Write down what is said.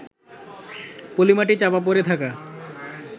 পলিমাটি চাপা পড়ে থাকা